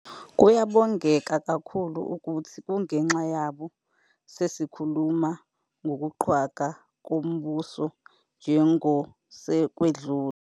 Kuyabongeka kakhulu ukuthi kungenxa yabo sesikhuluma ngokuqhwagwa kombuso njengosekwedlule.